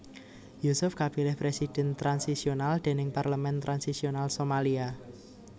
Yusuf kapilih Presiden transisional déning parlemen transisional Somalia